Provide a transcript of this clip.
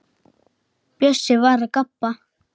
Bjössi var að gabba.